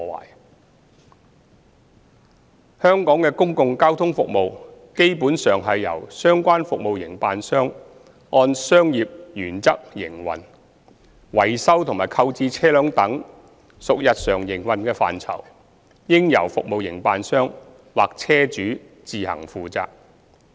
二香港的公共交通服務基本上是由相關服務營辦商按商業原則營運，維修及購置車輛等屬日常營運範疇，應由服務營辦商或車主自行負責。